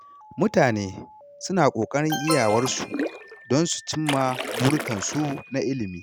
Mutane suna ƙoƙarin iyawarsu don su cimma burikansu na ilimi.